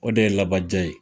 O de ye labaja ye.